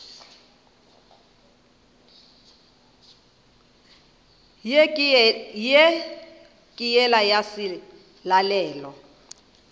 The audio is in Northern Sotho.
ye ke yela ya selalelo